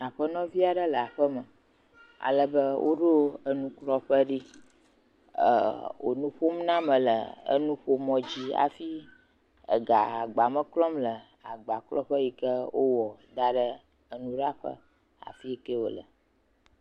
Aƒenɔvi aɖe le aƒeme. Woɖo enuklɔƒe ɖi, ɛɛ wònu ƒom na ame le nuƒomɔdzi. Hafi ega agbame klɔm le agbakɔlƒe yi ke wowɔ da ɖe enuɖaƒe afi yi ke wòle.